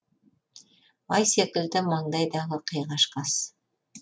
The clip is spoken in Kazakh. ай секілді маңдайдағы қиғаш қас